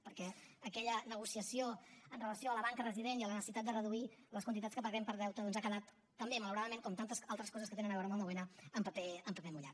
perquè aquella negociació amb relació a la banca resident i a la necessitat de reduir les quantitats que paguem per deute doncs ha quedat també malauradament com tantes altres coses que tenen a veure amb el nou n en paper mullat